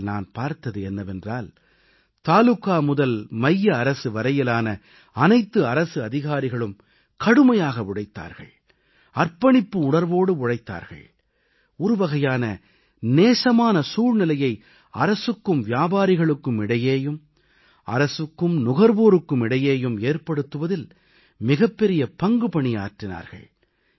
விஷயத்தில் நான் பார்த்தது என்னவென்றால் தாலுகா முதல் மைய அரசு வரையிலான அனைத்து அரசு அதிகாரிகளும் கடுமையாக உழைத்தார்கள் அர்ப்பணிப்பு உணர்வோடு உழைத்தார்கள் ஒரு வகையான நேசமான சூழ்நிலையை அரசுக்கும் வியாபாரிகளுக்கும் இடையேயும் அரசுக்கும் நுகர்வோருக்கு இடையேயும் ஏற்படுத்துவதில் மிகப்பெரிய பங்குபணியாற்றினார்கள்